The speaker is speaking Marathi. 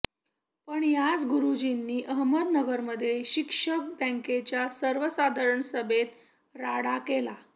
पण याच गुरूजींनी अहमदनगरमध्ये शिक्षक बँकेच्या सर्वसाधारण सभेत राडा केला